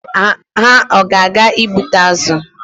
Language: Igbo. Ha a ga-aga ịgbụta azụ?